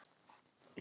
Gosi skal það vera.